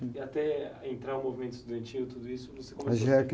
até entrar o movimento estudantil, tudo isso...).ocê começou...